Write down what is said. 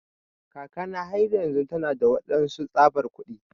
Kakana har yanzun tana da waɗansu tsabar kuɗi.